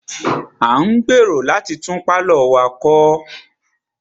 A ń gbèrò láti tún pálọ̀ wa kọ́.